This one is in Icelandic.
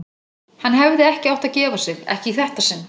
Hann hefði ekki átt að gefa sig, ekki í þetta sinn.